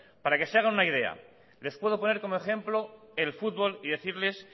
para que se hagan una idea les puedo poner como ejemplo el fútbol y decirles